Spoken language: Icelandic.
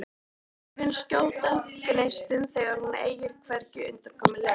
Augun skjóta gneistum þegar hún eygir hvergi undankomuleið.